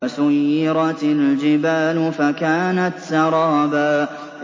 وَسُيِّرَتِ الْجِبَالُ فَكَانَتْ سَرَابًا